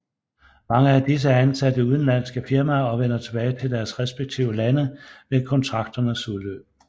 Mange af disse er ansat i udenlandske firmaer og vender tilbage til deres respektive lande ved kontrakternes udløb